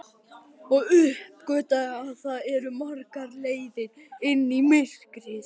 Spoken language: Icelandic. Og uppgötvaði að það eru margar leiðir inn í myrkrið.